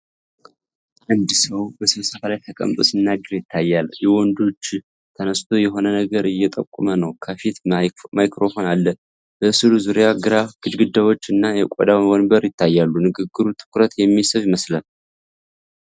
አንድ ሰው በስብሰባ ላይ ተቀምጦ ሲናገር ይታያል። የወንዱ እጅ ተነስቶ የሆነ ነገር እየጠቆመ ነው። ከፊቱ ማይክሮፎን አለ። በሥዕሉ ዙሪያ ግራጫ ግድግዳዎች እና የቆዳ ወንበር ይታያሉ። ንግግሩ ትኩረት የሚስብ ይመስላል።